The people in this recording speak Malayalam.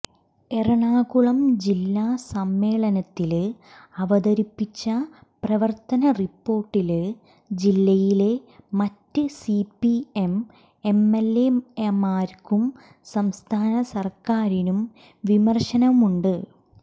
എറണാകുളം ജില്ലാ സമ്മേളനത്തില് അവതരിപ്പിച്ച പ്രവര്ത്തന റിപ്പോര്ട്ടില് ജില്ലയിലെ മറ്റ് സിപിഎം എംഎല്എമാര്ക്കും സംസ്ഥാന സര്ക്കാരിനും വിമര്ശനമുണ്ട്